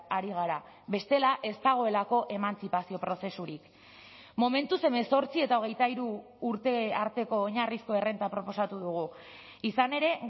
ari gara bestela ez dagoelako emantzipazio prozesurik momentuz hemezortzi eta hogeita hiru urte arteko oinarrizko errenta proposatu dugu izan ere